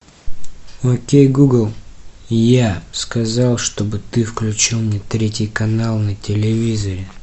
окей гугл я сказал чтобы ты включил мне третий канал на телевизоре